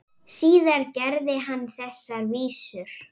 Síðar gerði hann þessar vísur: